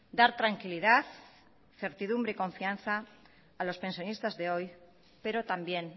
dar tranquilidad certidumbre y confianza a los pensionistas de hoy pero también